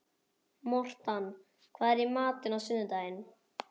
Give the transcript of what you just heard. Mortan, hvað er í matinn á sunnudaginn?